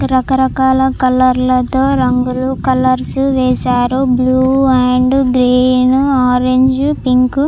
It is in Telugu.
రకరకాల కలర్ లతో రంగులు కలర్స్ వేశారు blue and green orange pink --